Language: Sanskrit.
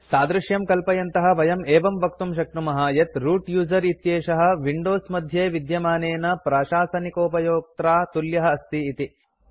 सादृश्यं कल्पयन्तः वयं एवं वक्तुं शक्नुमः यत् रूत् यूजर इत्येषः विंडोज मध्ये विद्यमानेन प्राशासनिकोपयोक्त्रा तुल्यः अस्ति इति